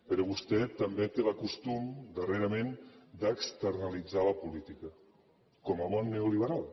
però vostè també té el costum darrerament d’externalitzar la política com a bon neoliberal